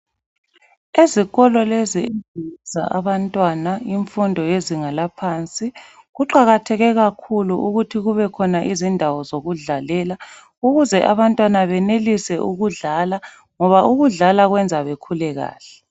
Ezikolo lezi ezifundisa abantwana imfundo yezinga laphansi. Kuqakatheke kakhulu ukuthi kubekhona indawo zokudlalela ukuze abantwana benelise ukudlala ngoba ukudlala kwenza bekhule kahle.